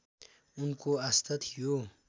उनको आस्था थियो